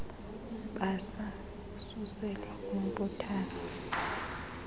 mbasa isuselwa kwinkuthazo